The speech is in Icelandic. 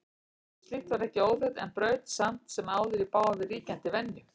Slíkt var ekki óþekkt en braut samt sem áður í bága við ríkjandi venju.